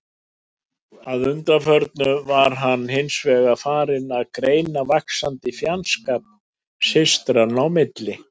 Að undanförnu var hann hins vegar farinn að greina vaxandi fjandskap systranna í milli.